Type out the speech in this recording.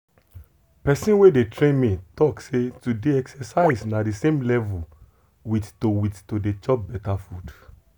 person wey dey train me talk say to dey exercise na the same level with to with to dey chop better food.